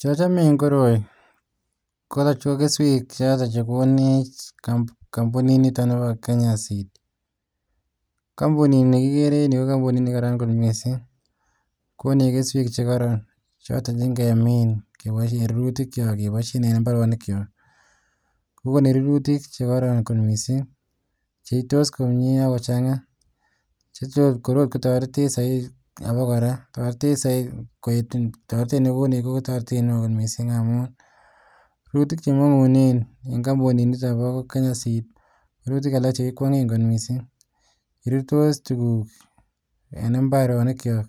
chochome en koroi ko kesweek chote chegigonech ko kesweek choton chegonech kombunit nito nebo kenya seed, kombunit nigigere en yuu ko kompunit negararan kot mising konech kesweek chegoron choton che ngemiin keboishen rurutik kyook keboishen en imbaronik kyook iiih kogonech rurutik choton chegoron kot mising, cheitos komyee ak kochanga chetos kotoretech soiti abogoraa, toretch soiit koeet toretech negonech ko toretet neoo kot mising amuun rurutik chemongunen en kombunit niton bo kenyan seed ko rurutik alalk chegikwongen kot mising, rurtos tuguk en imerenik kyook,